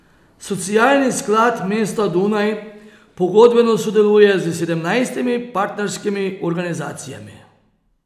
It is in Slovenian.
Socialni sklad mesta Dunaj pogodbeno sodeluje s sedemnajstimi partnerskimi organizacijami.